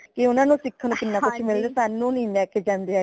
ਕਿ ਊਨਾ ਨੂ ਸਿੱਖਣ ਨੂ ਕਿਨਾ ਕੁਛ ਮਿਲਦਾ ਹੈ ਸਾਨੂ ਨੀ ਲੈ ਕੇ ਜਾਂਦੇ ਹੈਗੇ